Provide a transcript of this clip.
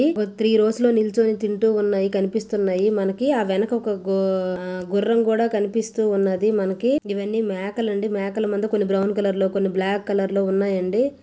Tree రోస్ నిల్చొని తింటూ ఉన్నాయి. కనిపిస్తున్నాయి. మనకి ఆ వెనుక ఒక గు-గుర్రం కూడా కనిపిస్తున్నది మనకి. ఇవన్నీ మేకలండి మేకలమంద కొన్ని బ్రౌన్ కలర్ లో కొన్ని బ్లాక్ కలర్ లో ఉన్నాయండి.